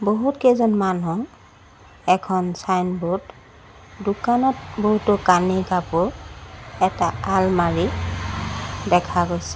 বহুত কেইজন মানুহ এখন ছাইনবোৰ্ড দোকানত বহুতো কানি কাপোৰ এটা আলমাৰি দেখা গৈছে।